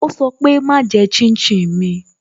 Ó sọ pé "Má jẹ́ shin shin mi"